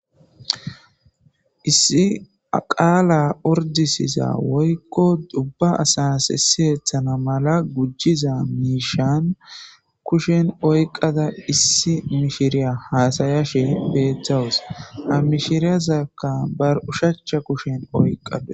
Issi a qaala ordisiza woykko ubba asas siyetana mala gujiza miishan kushen oyqada issi mishiriya hasyashe beetawus ha mishirezaka bar oshacha kushen oykadus.